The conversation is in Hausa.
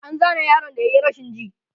an Zane yaron da yayi rashin ji